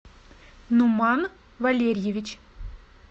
нуман валерьевич